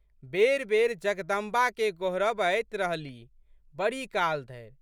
बेरिबेरि जगदम्बाके गोहरबैत रहलीह। बड़ी काल धरि।